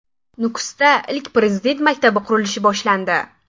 Nukusda ilk Prezident maktabi qurilishi boshlandi.